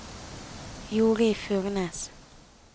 Jorid Furnes